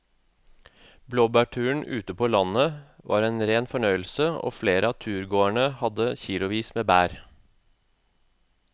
Blåbærturen ute på landet var en rein fornøyelse og flere av turgåerene hadde kilosvis med bær.